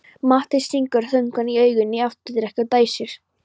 Matti stingur þungum augunum í afturdekkið og dæsir.